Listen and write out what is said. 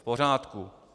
V pořádku.